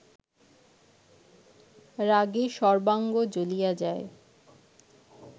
রাগে সর্বাঙ্গ জ্বলিয়া যায়